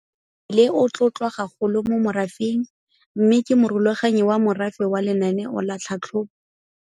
Le o tlotlwa gagolo mo morafeng mme ke Morulaganyi wa Morafe wa Lenaneo la Tlhabololo ya Morafe mo kgaolong.